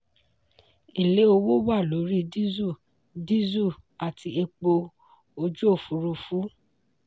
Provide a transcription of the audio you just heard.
èlé owó wà lórí diesel diesel àti epo ojú òfúrufú.